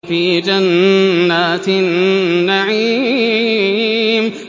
فِي جَنَّاتِ النَّعِيمِ